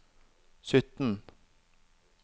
sytten